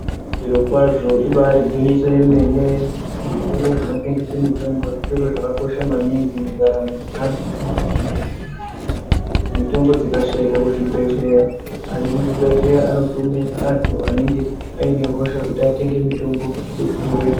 Zviro kwazvo ibari gwinyiso remene zvitoro zvinotengesa mitombo zvitoro zvakakosha maningi mundaramo dzeantu mitombo dzikashaikwa kuzvibhehlera antu ekuzvibhehleya anotuma anenge ane hosha kuti atenge mutombo kuzvitoroyo.